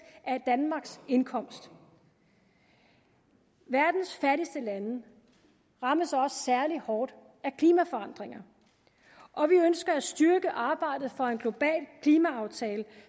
af danmarks indkomst verdens fattigste lande rammes også særligt hårdt af klimaforandringer og vi ønsker at styrke arbejdet for en global klimaaftale